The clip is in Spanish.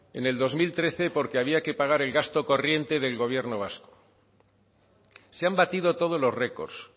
en el dos mil trece porque había que pagar el gasto corriente del gobierno vasco se han batido todos los récords